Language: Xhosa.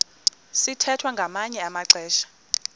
sithwethwa ngamanye amaxesha